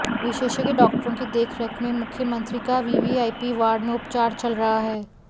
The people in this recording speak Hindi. विशेषज्ञ डॉक्टरों की देखरेख में मुख्यमंत्री का वीवीआईपी वार्ड में उपचार चल रहा है